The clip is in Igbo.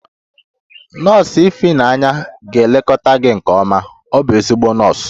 Nọọsụ ifeyinwa ga-elekọta gị nke ọma, ọ bụ ezigbo nọọsụ